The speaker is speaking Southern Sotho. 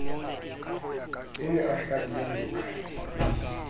o ne a hlabile dioka